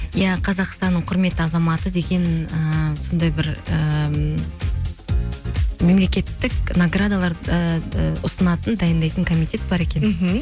иә қазақстанның құрметті азаматы деген ыыы сондай бір ы мемлекеттік наградалар ыыы ұсынатын дайындайтын комитет бар екен мхм